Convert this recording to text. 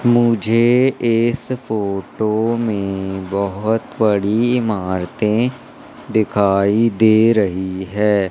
मुझे इस फोटो में बहोत बड़ी इमारतें दिखाई दे रही है।